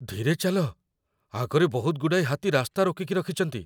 ଧୀରେ ଚାଲ । ଆଗରେ ବହୁତଗୁଡ଼ାଏ ହାତୀ ରାସ୍ତା ରୋକିକି ରଖିଚନ୍ତି ।